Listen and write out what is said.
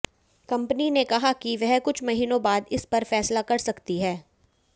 company ने कहा कि वह कुछ महीनों बाद इस पर फैसला कर सकती है